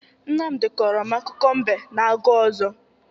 Nmamdị kọrọ m akụkọ mbe na agụ ọzọ.